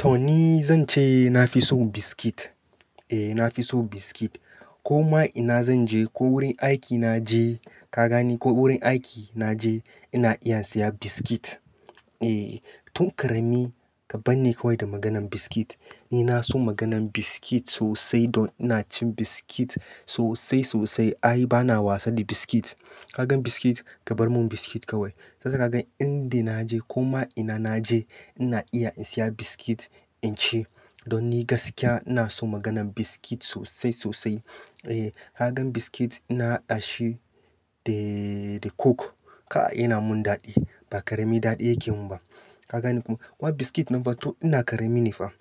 To ni zan ce na fi son biskit. E, na fi son biskit. Ko ma ina zan je, ko wurin aiki na je, ka gane ko wurin aiki na je, ina iya siya biskit. E, tun ƙarami ka ban ni kawai da maganan biskit. Ni na son maganan biskit sosai don ina cin biskit sosai sosai. Ai bana wasa da biskit. Ka gan biskit, ka bar mun biskit kawai. Tasa ka gan inda na je ko ma ina na je ina iya in siya biskit in ci. Don ni gaskiya ina son maganan biskit sosai sosai. E, ka gan biskit ina haɗa shi da, da coke. Ka, yana mun daɗi. Ba ƙarami daɗi yake mun ba. Ka gane ko? Wa biskit nan fa to ina ƙarami ne fa.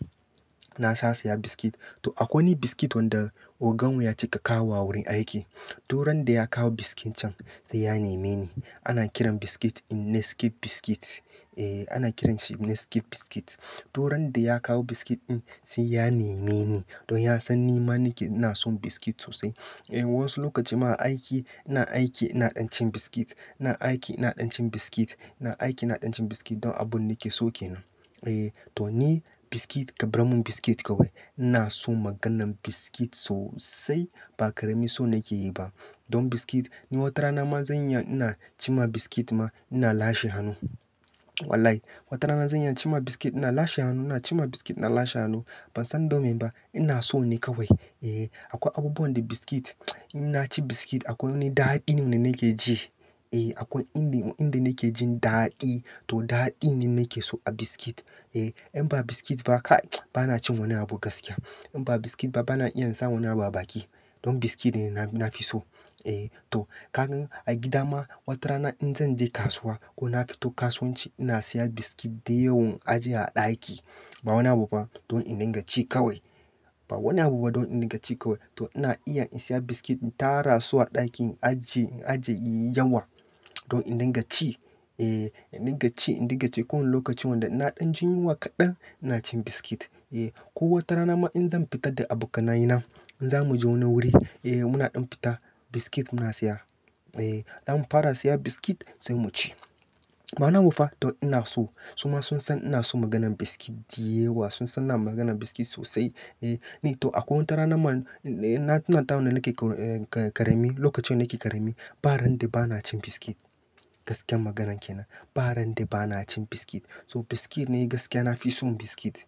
Na sa siya biskit. To akwai wani biskit wanda ogan mu ya ci ka kawowa a wurin aiki. Du ran da ya kawo biskit can sai ya neme ni. Ana kiran biskit in Nesquik biskit. E, ana kiranshi Nesquik biskit. Du ran da ya kawo biskit in sai ya neme ni. Don ya san ni ma nake na son biskit sosai. E, wasu lokaci ma a aiki, ina aiki ina ɗan cin biskit. Ina aiki ina ɗan cin biskit. Ina aiki ina ɗan cin biskit don abun nake so ke nan. E, to ni biskit ka barmi biskit kawai ina son maganan biskit sosai. Ba ƙarami so nake yi ba. Don biskit, ni wata rana ma zan iya ina cima biskit ma ina lashe hannu. Walahi, wata rana zan iya cima biskit ina lashe hannu. Ina cima biskit ina lashe hannu. Ban san domin ba, ina so ne kawai. E, akwai abubuwan da biskit, in na ci biskit akwai wani daɗi ne nake ji. E, akwai inda, inda nake jin daɗi. To daɗin ne nake so a biskit. E, in ba biskit ba ka, bana cin wani abu gaskiya. In ba biskit ba bana iya in sa wani abu a baki. Don biskit ne na, na fi so. E, to ka gan a gida ma wata rana in zan je kasuwa ko na fito kasuwanci ina siya biskit da yawan ajiye a ɗaki. Ba wani abu ba don in dinga ci kawai. Ba wani abu ba don in dinga ci kawai. To ina iya in siya biskit in tara su a ɗakin aji, ajiye yi yawa don in dinga ci. E, in dinga ci in dinga ci. Ko wani lokacin wanda ina ɗan jin yunwa kaɗan ina cin biskit. E, ko wata rana ma in zan fita da abokanaye na, in za mu je wani wuri, e, muna ɗan fita, biskit muna siya. E, an fara siya biskit sai mu ci. Ba wani abu ba. To ina so. Su ma sun san ina son maganan biskit da yewa. Sun san na maganan biskit sosai. E, ni to akwai wata rana ma, na, na tuna ta wanda nake ƙa-ƙarami, lokacin da nake ƙarami, ba ran da bana cin biskit. Gaskiyar maganan ke nan. Ba ran da bana cin biskit. So biskit ni gaskiya na fi son biskit.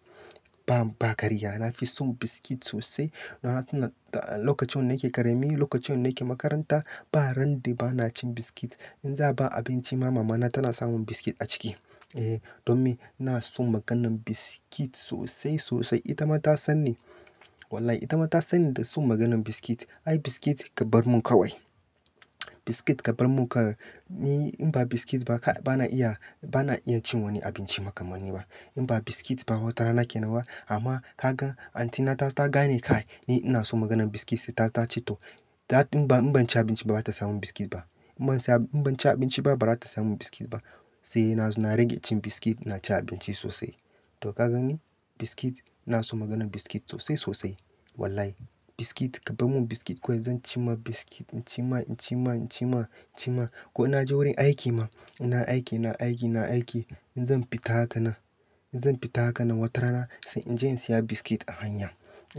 Ba, ba ƙarya. Na fi son biskit sosai. Na tuna da lokacin da nake ƙarami, lokacin da nake makaranta, ba ran da bana cin biskit. In za a ba abinci ma mama na tana sa mun biskit a ciki. E, domin ina son maganan biskit sosai sosai. Ita ma ta san ni. Wallahi ita ma ta san ni da son maganan biskit. Ai biskit ka bar mun kawai. Biskit ka bar mun ka. Ni in ba biskit ba kai, bana iya, bana iya cin wani abinci makamanni ba. In ba biskit ba wata rana ke nan ba. Amma ka gan anti na ta, ta gane kai. Ni ina son maganan biskit sai ta, ta ce to, ita in ban, in ban ci abinci ba bata sa mun biskit ba. In ban siya, in ban ci abinci ba, ba za ta siya mun biskit ba. Sai na zo na rage cin biskit ina cin abinci sosai to ka gani biskit, ina son maganan biskit sosai sosai. Wallahi. Biskit ka bar mun biskit kawai zan cima biskit. In cima, in cima, in cima, cima. Ko naje wajen aiki ma, nayi aiki nayi aiki in zan fita haka nan wata rana sai inje in siya biskit a hanya.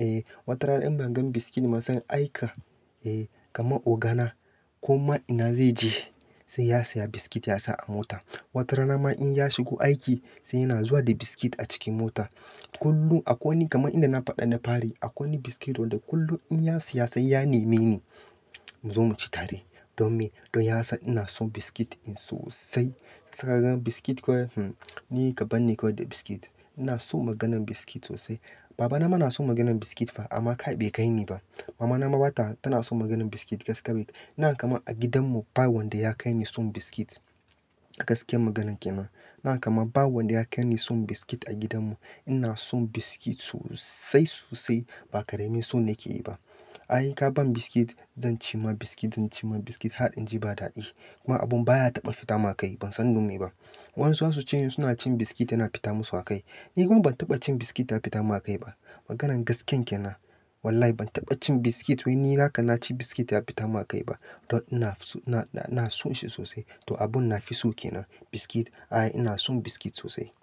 E, wata rana idan ban gan biskit ba zan aika, e, kama ogana ko ma ina zai je sai ya siya biskit ya sa a mota. Wata rana ma in ya shigo aiki sai yana zuwa da biskit a cikin mota. Kullum akwai wani kamar inda na faɗa na fari. Akwai wani biskit wanda kullum in ya siya sai ya neme ni. Mu zo mu ci tare. Domin, don ya san ina son biskit in sosai. Sa ka gan biskit kawai hm, ni ka ban ni kawai da biskit. Ina son maganan biskit sosai. Baba na ma na son maganan biskit fa amma kai bai kai ni ba. Mama na ma ba ta, tana son maganan biskit gaskane. Ina kaman a gidan mu ba wanda ya kai ni son biskit. Gaskiya maganan kenan. Ba kama, ba wanda ya kaini son biskit a gidan mu. Ina son biskit sosai sosai. Ba ƙarami so nake yi ba. Ai ka ban biskit zan cima biskit, zan cima biskit. Har in ji ba daɗi. Kuma abun baya taɓa fita ma kai. Ban san donme ba. Wasu za su ce suna cin biskit yana fita musu akai. Ni kuma ban taɓa cin biskit ya fita mun akai ba. Maganan gaskiyan ke nan. Wallahi ban taɓa cin biskit wai ni haka na ci biskit ya fita mun akai ba. Don ina so, na, ina sonshi sosai. To abun nafi so ke nan. Biskit, ai ina son biskit sosai.